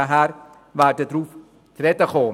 wir werden darauf zu sprechen kommen.